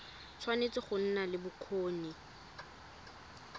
tshwanetse go nna le bokgoni